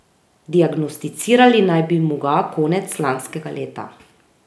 Diagnosticirali naj bi mu ga konec lanskega leta.